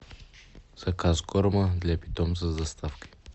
заказ корма для питомца с доставкой